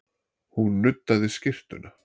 Hún nuddaði skyrtuna.